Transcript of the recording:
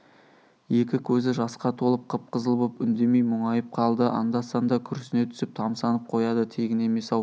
екі көзі жасқа толып қып-қызыл боп үндемей мұңайып қалды анда-санда күрсіне түсіп тамсанып қояды тегін емес-ау